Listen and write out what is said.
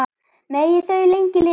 Megi þau lengi lifa.